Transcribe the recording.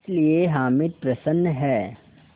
इसलिए हामिद प्रसन्न है